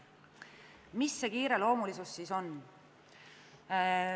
Mis see kiireloomulisus siis on?